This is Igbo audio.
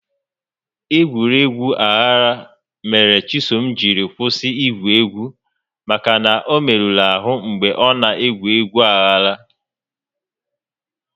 Egwuregwu aghara mere Chisom jiri kwụsị igwu egwu maka na ọ merụrụ ahụ mgbe ọ na egwu egwu aghara